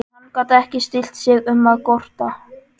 En hann gat ekki stillt sig um að gorta.